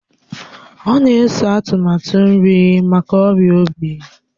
Ọ na-eso atụmatụ nri maka ọrịa obi